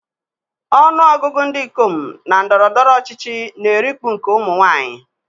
Ọnụ ọgụgụ ndị ikom na ndọrọ ndọrọ ọchịchị na-erikpu nke ụmụ nwaanyị.